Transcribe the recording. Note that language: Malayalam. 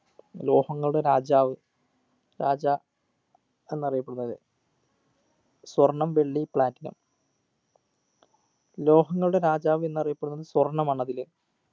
ലോഹങ്ങളുടെ രാജാവ് രാജാ എന്നറിയപ്പെടുന്നത് സ്വർണ്ണം വെള്ളി platinum ലോഹങ്ങളുടെ രാജാവ് എന്നറിയപ്പെടുന്നത് സ്വർണ്ണമാണതില്